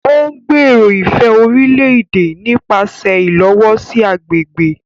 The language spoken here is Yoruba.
O ngbèrò ifẹ orílè-èdè nipasẹ ilowosi agbègbè